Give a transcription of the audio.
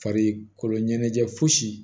Farikolo ɲɛnajɛ fosi